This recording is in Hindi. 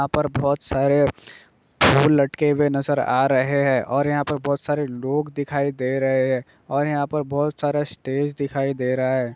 यहां पर बहोत सारे फूल लटके हुए नजर आ रहे हैं और यहां पर बहोत सारे लोग दिखाई दे रहे हैं और यहां पर बहोत सारे स्टेज दिखाई दे रहा है ।